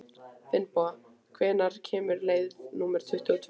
Finnboga, hvenær kemur leið númer tuttugu og tvö?